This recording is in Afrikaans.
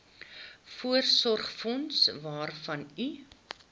voorsorgsfonds waarvan u